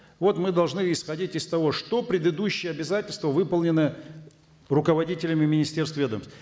вот мы должны исходить из того что предыдущие обязательства выполнены руководителями министерств и ведомств